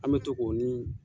An be to ko ni